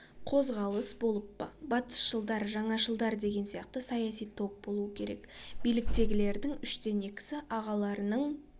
қозғалыс болып па батысшылдар жаңашылдар деген сияқты саяси топ болуы керек биліктегілердің үштен екісі ағаларының